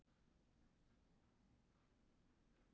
En það kom miði upp úr vasa og á hann var skrifað eitthvert nafn.